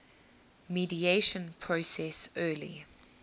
mediation process early